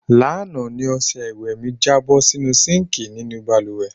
Lánàá ni os̩e̩ ìwè̩ mi jábó̩ sínú síǹkì nínú balùwè̩.